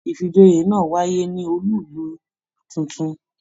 Ifíjòyè náà wáyé ní ọọlú ìlú títún.